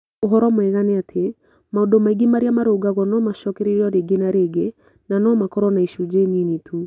Ũhoro mwega nĩ atĩ, maũndũ maingĩ marĩa marũngagwo no macookererio rĩngĩ na rĩngĩ na no makorũo na icunjĩ nini tu.